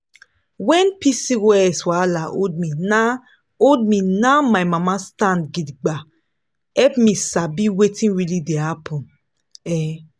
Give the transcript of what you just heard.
when pcos wahala hold me na hold me na my mama stand gidigba help me sabi wetin really dey happen. um